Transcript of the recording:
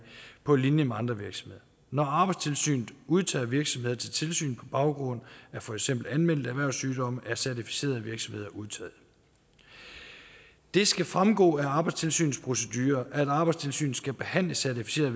på linje med andre virksomheder når arbejdstilsynet udtager virksomheder til tilsyn på baggrund af fx anmeldte erhvervssygdomme er certificerede virksomheder undtaget det skal fremgå af arbejdstilsynets procedurer at arbejdstilsynet skal behandle certificerede